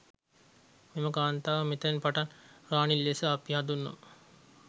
මෙම කාන්තාව මෙතැන් පටන් රාණි ලෙස අපි හඳුන්වමු.